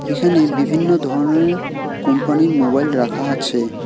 এখানে বিভিন্ন ধরনের কোম্পানির মোবাইল রাখা আছে।